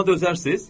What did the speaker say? Buna dözərsiz?